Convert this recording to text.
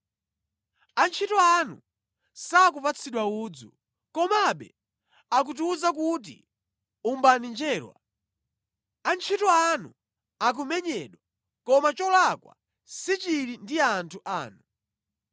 Antchito anu sakupatsidwa udzu, komabe akutiwuza kuti, ‘Umbani njerwa!’ Antchito anu akumenyedwa, koma cholakwa sichili ndi anthu anu.”